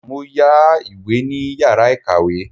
Mo yá ìwé ní yàrá ìkàwé.